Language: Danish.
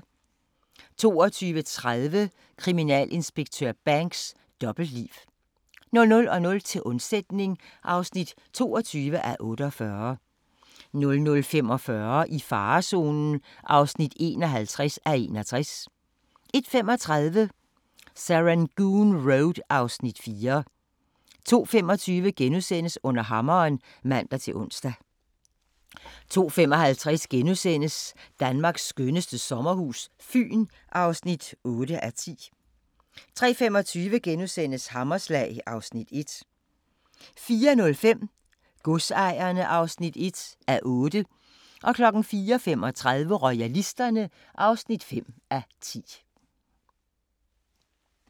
22:30: Kriminalinspektør Banks: Dobbeltliv 00:00: Til undsætning (22:48) 00:45: I farezonen (51:61) 01:35: Serangoon Road (Afs. 4) 02:25: Under hammeren *(man-ons) 02:55: Danmarks skønneste sommerhus - Fyn (8:10)* 03:25: Hammerslag (Afs. 1)* 04:05: Godsejerne (1:8) 04:35: Royalisterne (5:10)